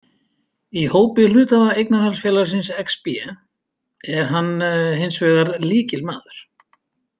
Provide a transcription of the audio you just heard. Í hópi hluthafa eignarhaldsfélagsins Exbé er hann hins vegar lykilmaður.